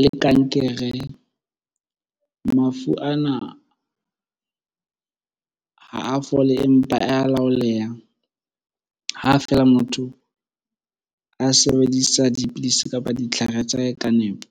le kankere. Mafu ana ha a fole, empa a laolehang ha feela motho a sebedisa dipidisi kapa ditlhare tsa hae ka nepo.